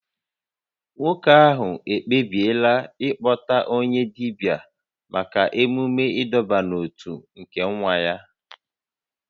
Nwoke ahụ ekpebiela ịkpọta onye dibia maka emume ịdọbata n'otu nke nwa ya